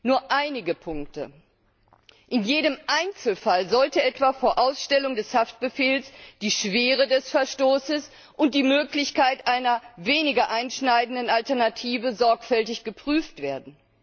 Nur einige Punkte In jedem Einzelfall sollte etwa vor Ausstellung des Haftbefehls die Schwere des Verstoßes und die Möglichkeit einer weniger einschneidenden Alternative sorgfältig geprüft werden.